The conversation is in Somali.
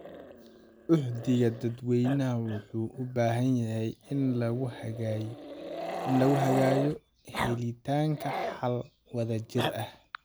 Uhdhigga dadweynaha wuxuu u baahan yahay in lagu hagayo helitaanka xal wadajir ah.